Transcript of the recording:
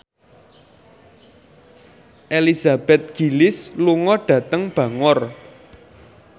Elizabeth Gillies lunga dhateng Bangor